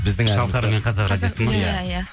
шалқар мен қазақ радиосы ма иә иә